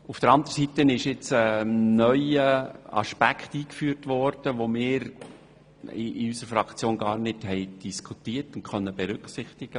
Auf der anderen Seite ist ein neuer Aspekt eingeführt worden, den wir in unserer Fraktion gar nicht diskutiert und folglich nicht berücksichtigt haben.